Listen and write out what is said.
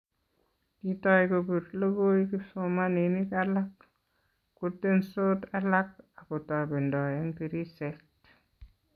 Kitou kopir lokoi kipsomaninik alak, kotensot alak akotobendoi eng tirishet